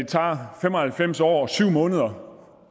tager fem og halvfems år og syv måneder